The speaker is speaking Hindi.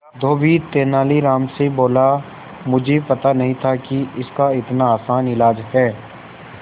धोबी तेनालीराम से बोला मुझे पता नहीं था कि इसका इतना आसान इलाज है